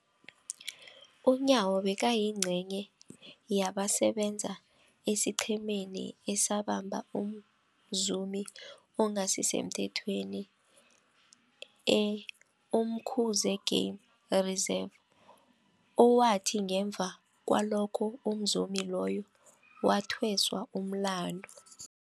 UNyawo bekayingcenye yabasebenza esiqhemeni esabamba umzumi ongasisemthethweni e-Umkhuze Game Reserve, owathi ngemva kwalokho umzumi loyo wathweswa umlandu.